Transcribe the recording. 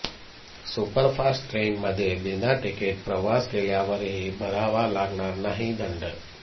superfast ट्रेनमध्ये बिनातिकीट प्रवास केल्यावरही भरावा लागणार नाही दंड